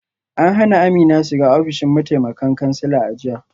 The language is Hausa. An hana Amina shiga ofishin mataimakan kansila a jiya